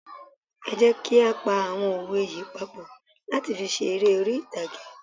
Ẹ jẹ́ kí á pa àwọn òwe yí papọ̀ láti fi ṣe eré orí ìtàgé.